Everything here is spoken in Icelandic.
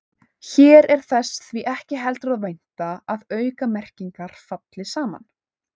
Hér er þess því ekki heldur að vænta að aukamerkingar falli saman.